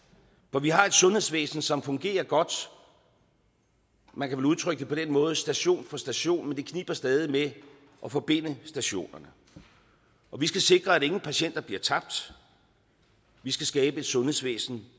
for vi har et sundhedsvæsen som fungerer godt man kan vel udtrykke det på den måde station for station men det kniber stadig med at forbinde stationerne og vi skal sikre at ingen patienter bliver tabt vi skal skabe et sundhedsvæsen